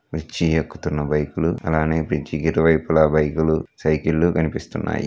Bridge ఎక్కుతున్న bike లు అలానే బ్రిడ్జ్ కి ఇరువైపులా బైకు లు సైకిల్ లు కనిపిస్తున్నాయి.